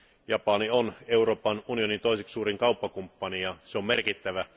Japani on Euroopan unionin toiseksi suurin kauppakumppani ja se on merkittävä.